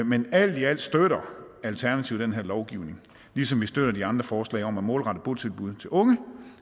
men alt i alt støtter alternativet den her lovgivning ligesom vi støtter de andre forslag om at målrette botilbud til unge